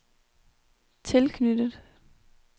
tilknyttet